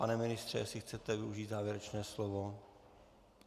Pane ministře, jestli chcete využít závěrečné slovo?